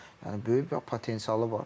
Yəni böyük potensialı var.